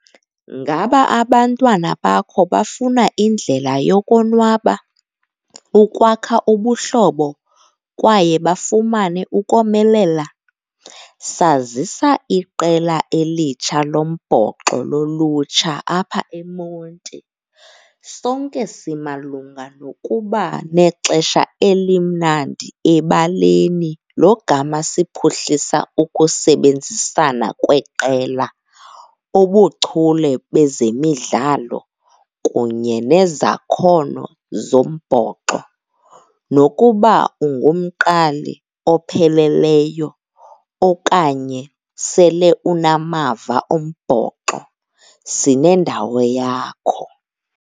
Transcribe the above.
Ngaba abantwana bakho bafuna indlela yokonwaba, ukwakha ubuhlobo kwaye bafumane ukomelela? Sazisa iqela elitsha lombhoxo lolutsha apha eMonti. Sonke simalunga nokuba nexesha elimnandi ebaleni logama siphuhlisa ukusebenzisana kweqela, ubuchule bezemidlalo kunye nezakhono zombhoxo. Nokuba ungumqali opheleleyo okanye sele unamava ombhoxo, sinendawo yakho.